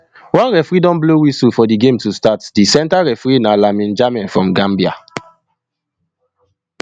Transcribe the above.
onereferee don blow whistle for di game to start di center referee na lamine jammeh from gambia